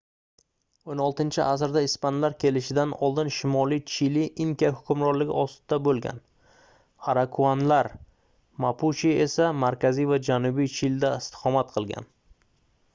16-asrda ispanlar kelishidan oldin shimoliy chili inka hukmronligi ostida bo'lgan araukanlar mapuche esa markaziy va janubiy chilida istiqomat qilgan